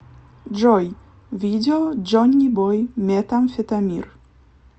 джой видео джонибой метамфетамир